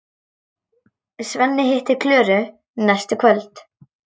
Svenni hittir Klöru næstu kvöld.